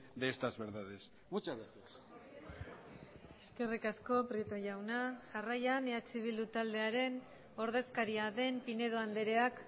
de estas verdades muchas gracias eskerrik asko prieto jauna jarraian eh bildu taldearen ordezkaria den pinedo andreak